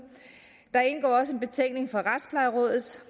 der indgår også en betænkning fra retsplejerådet